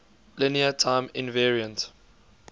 linear time invariant